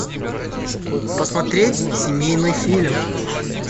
посмотреть семейный фильм